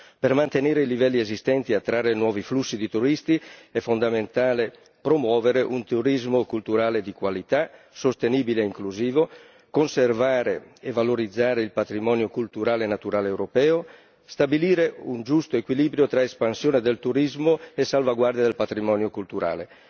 Per mantenere i livelli esistenti e attrarre nuovi flussi di turisti è fondamentale promuovere un turismo culturale di qualità, sostenibile e inclusivo, conservare e valorizzare il patrimonio culturale e naturale europeo, stabilire un giusto equilibrio tra espansione del turismo e salvaguardia del patrimonio culturale.